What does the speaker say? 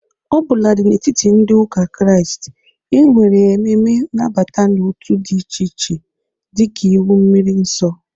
Ọ bụladị n'etiti ndị ụka Krịast, e nwere ememe nabata n'otu dị iche iche dị ka iwu mmiri nsọ.